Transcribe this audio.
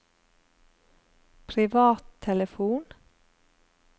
privattelefon